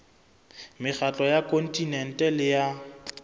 mekgatlo ya kontinente le ya